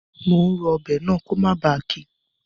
Mo n ro ọbẹ̀ náà ko mó ba kí